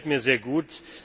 Das gefällt mir sehr gut.